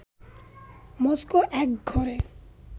Moscow একঘরে